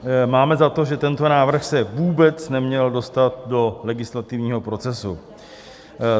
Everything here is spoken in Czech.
Máme za to, že tento návrh se vůbec neměl dostat do legislativního procesu.